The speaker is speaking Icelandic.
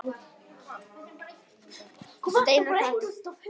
Steinar Karl.